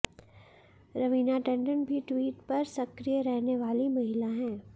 रवीना टंडन भी ट्वीट पर सक्रीय रहने वाली महिला हैं